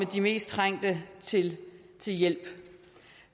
de mest trængte til hjælp